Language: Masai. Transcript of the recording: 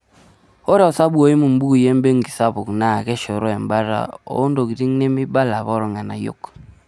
Ore osabu oimu imbukuinebenki sapuk, naa keshoroo embata oontokiting' nemeibala eapa oolng'anayio.